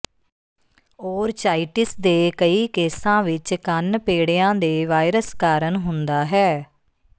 orchitis ਦੇ ਕਈ ਕੇਸਾਂ ਵਿੱਚ ਕੰਨ ਪੇੜਿਆਂ ਦੇ ਵਾਇਰਸ ਕਾਰਨ ਹੁੰਦਾ ਹੈ